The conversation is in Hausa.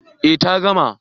Eh ta gama